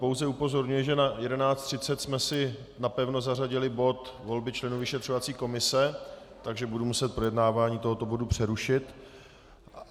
Pouze upozorňuji, že na 11.30 jsme si napevno zařadili bod volby členů vyšetřovací komise, takže budu muset projednávání tohoto bodu přerušit.